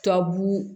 Tubabu